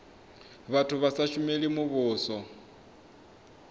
vhathu vha sa shumeli muvhuso